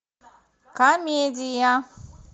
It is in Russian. комедия